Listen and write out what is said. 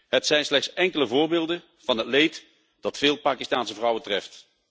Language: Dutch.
Het zijn slechts enkele voorbeelden van het leed dat veel Pakistaanse vrouwen treft.